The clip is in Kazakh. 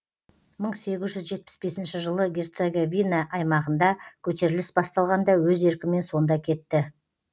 мың сегіз жүз жетпіс бесінші жылы герцеговина аймағында көтеріліс басталғанда өз еркімен сонда кетті